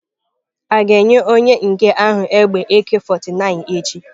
A ga-enye onye nke ahụ egbe Ak49 echi?